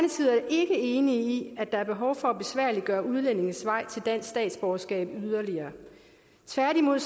ikke enig i at der er behov for at besværliggøre udlændinges vej til dansk statsborgerskab yderligere tværtimod